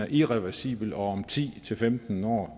irreversibel og om ti til femten år